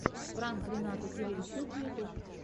пранк рената кирильчук ютьюб